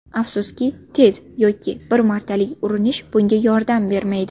Afsuski, tez yoki bir martalik urinish bunga yordam bermaydi.